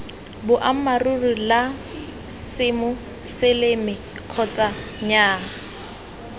boammaaruri la semoseleme kgotsa nnyaa